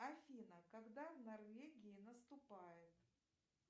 афина когда в норвегии наступает